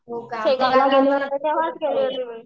शेगावला गेले होते तेंव्हाच गेले होते.